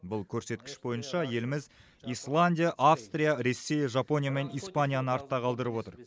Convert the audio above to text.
бұл көрсеткіш бойынша еліміз исландия австрия ресей жапония мен испанияны артта қалдырып отыр